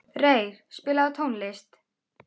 Reyr, spilaðu tónlist.